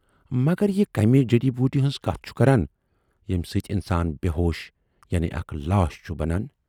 مگر یہِ کمہِ جڈی بوٗٹی ہٕنز کتھ چھُ کران، ییمہِ سۭتۍ اِنسان بے ہوش یعنی اکھ لاش چھُ بنان۔